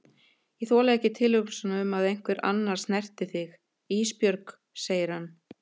Ég þoli ekki tilhugsunina um að einhver annar snerti þig Ísbjörg, segir hann.